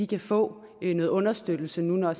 kan få noget understøttelse når